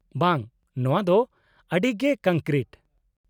-ᱵᱟᱝ, ᱱᱚᱶᱟ ᱫᱚ ᱟᱹᱰᱤ ᱜᱮ ᱠᱚᱝᱠᱨᱤᱴ ᱾